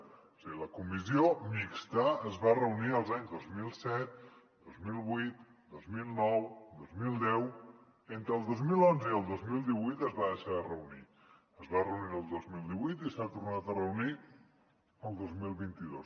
o sigui la comissió mixta es va reunir els anys dos mil set dos mil vuit dos mil nou dos mil deu entre el dos mil onze i el dos mil divuit es va deixar de reunir es va reunir el dos mil divuit i s’ha tornat a reunir el dos mil vint dos